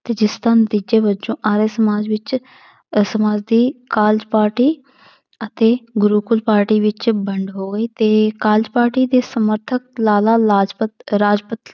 ਤੇ ਜਿਸਦਾ ਨਤੀਜੇ ਵਜੋਂ ਆਰੀਆ ਸਮਾਜ ਵਿੱਚ ਦੀ ਕਾਰਜ ਪਾਰਟੀ ਅਤੇ ਗੁਰੂਕੁਲ ਪਾਰਟੀ ਵਿੱਚ ਵੰਡ ਹੋ ਗਈ ਤੇ ਕਾਰਜ ਪਾਰਟੀ ਦੇ ਸਮਰਥਕ ਲਾਲਾ ਲਾਜਪਤ ਰਾਜਪਤ